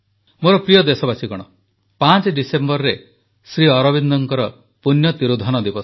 ମୋର ପ୍ରିୟ ଦେଶବାସୀଗଣ 5 ଡିସେମ୍ବରରେ ଶ୍ରୀଅରବିନ୍ଦଙ୍କ ପୂଣ୍ୟ ତିରୋଧାନ ଦିବସ